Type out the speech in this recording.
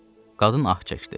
Qadın ah çəkdi.